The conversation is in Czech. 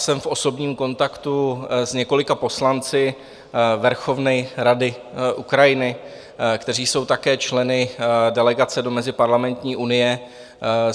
Jsem v osobním kontaktu s několika poslanci Verchovné rady Ukrajiny, kteří jsou také členy delegace do Meziparlamentní unie.